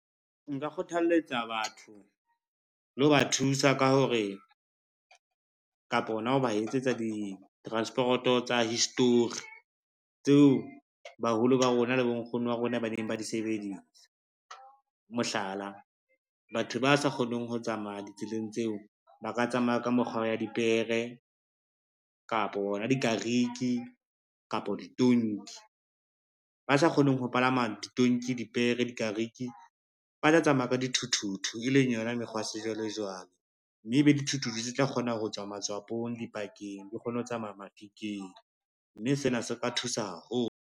Nka kgothaletsa batho le ho ba thusa ka hore kapa hona ho ba etsetsa ditransporoto tsa history, tseo baholo ba rona le bonkgono ba rona ba neng ba di sebedisa. Mohlala, batho ba sa kgoneng ho tsamaya ditseleng tseo ba ka tsamaya ka mokgwa wa dipere, kapa ona dikariki, kapa ditonki. Ba sa kgoneng ho palama ditonki, dipere, dikariki ba tla tsamaya ka dithuthuthu, e leng yona mekgwa ya sejwalejwale, mme ebe dithuthuthu tse tla kgona ho tswa matshwapong, dipakeng, di kgone ho tsamaya mafikeng, mme sena se ka thusa haholo.